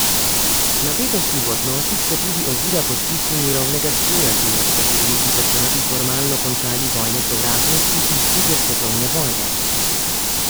Napetosti v odnosih so tudi ovira podpisu mirovnega sporazuma, s katerimi bi državi formalno končali vojne sovražnosti iz druge svetovne vojne.